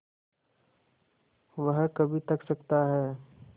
वह कभी थक सकता है